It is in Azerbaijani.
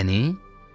Məni?